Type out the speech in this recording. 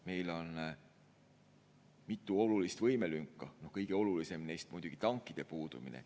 Meil on mitu olulist võimelünka, kõige olulisem neist on muidugi tankide puudumine.